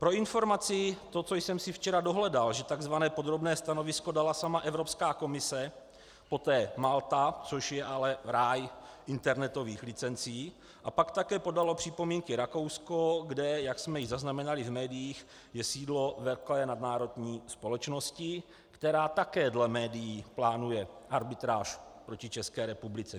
Pro informaci, to, co jsem si včera dohledal, že tzv. podrobné stanovisko dala sama Evropská komise, poté Malta, což je ale ráj internetových licencí, a pak také podalo připomínky Rakousko, kde, jak jsme již zaznamenali v médiích, je sídlo velké nadnárodní společnosti, která také dle médií plánuje arbitráž proti České republice.